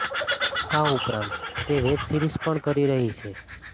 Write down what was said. આ ઉપરાંત તે વેબ સીરિઝ પણ કરી રહી છે